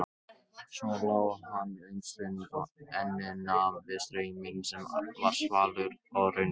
Svo lá hann um stund og ennið nam við strauminn sem var svalur og raunverulegur.